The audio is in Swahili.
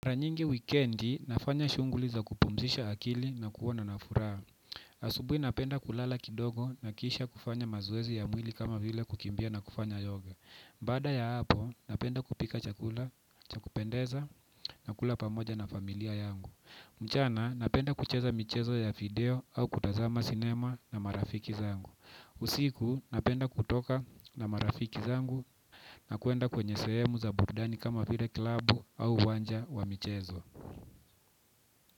Mara nyingi wikendi, nafanya shunguli za kupumzisha akili na kuona na furaha. Asubui napenda kulala kidogo nakisha kufanya mazoezi ya mwili kama vile kukimbia na kufanya yoga. Baada ya hapo, napenda kupika chakula ca kupendeza na kula pamoja na familia yangu. Mchana, napenda kucheza michezo ya video au kutazama cinema na marafiki zangu. Usiku napenda kutoka na marafiki zangu na kuenda kwenye sehemu za burdani kama vile klabu au uwanja wa michezo.